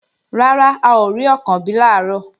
Rárá, a ò rí Ọ̀kànbí làárọ̀